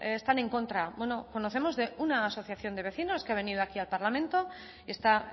están en contra bueno conocemos de una asociación de vecinos que ha venido aquí al parlamento y está